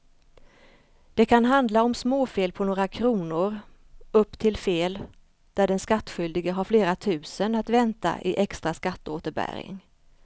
Det kan handla om småfel på några kronor upp till fel där den skattskyldige har flera tusen att vänta i extra skatteåterbäring.